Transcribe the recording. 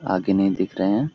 आगे नहीं दिख रहे हैं ।